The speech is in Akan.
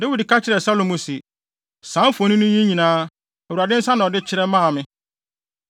Dawid ka kyerɛɛ Salomo se, “Saa mfoni yi nyinaa, Awurade nsa na ɔde kyerɛw maa me.”